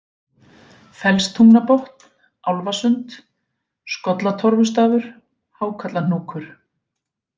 Fellstungnabotn, Álfasund, Skollatorfustafur, Hákallahnúkur